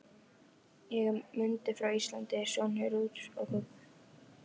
Ég er Mundi frá Íslandi, sonur Rúts og Guggu.